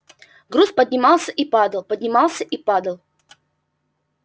груз поднимался и падал поднимался и падал